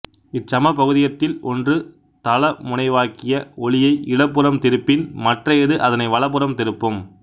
இச் சமபகுதியத்தில் ஒன்று தளமுனைவாக்கிய ஒளியை இடப்புறம் திருப்பின் மற்றையது அதனை வலப்புறம் திருப்பும்